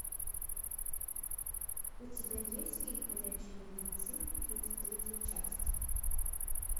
у тебя есть фильм ходячие мертвецы тридцать третья часть